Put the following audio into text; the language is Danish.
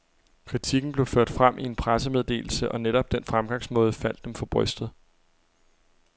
Kritikken blev ført frem i en pressemeddelse, og netop den fremgangsmåde faldt dem for brystet.